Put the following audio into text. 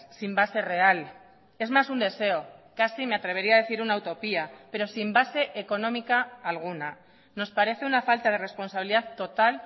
sin base real es más un deseo casi me atrevería a decir una utopía pero sin base económica alguna nos parece una falta de responsabilidad total